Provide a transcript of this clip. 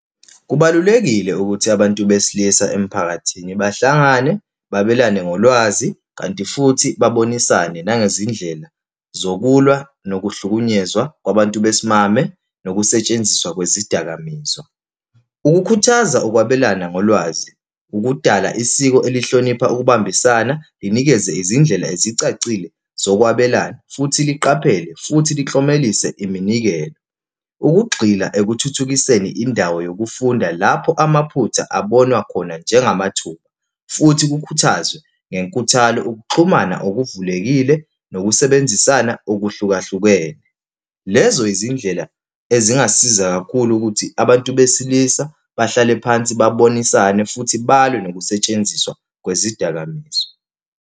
Kubalulekile ukuthi abantu besilisa emphakathini bahlangane, babelane ngolwazi, kanti futhi babonisane nangezindlela zokulwa nokuhlukunyezwa kwabantu besimame nokusetshenziswa kwezidakamizwa. Ukukhuthaza ukwabelana ngolwazi, ukudala isiko elihlonipha ukubambisana, linikeze izindlela ezicacile zokwabelana, futhi liqaphele, futhi liklomelise iminikelo. Ukugxila ekuthuthukiseni indawo yokufunda lapho amaphutha abonwe khona njengamathuba, futhi kukhuthazwe ngenkuthalo ukuxhumana okuvulelekile nokusebenzisana okuhlukahlukene. Lezo izindlela ezingasiza kakhulu ukuthi abantu besilisa bahlale phansi babonisane futhi balwe nokusetshenziswa kwezidakamizwa.